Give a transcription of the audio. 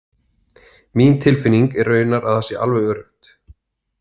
Mín tilfinning er raunar að það sé alveg öruggt.